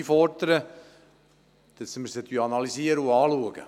Sie werden von uns analysiert und geprüft.